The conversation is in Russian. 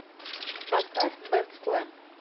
поставь бэндслэм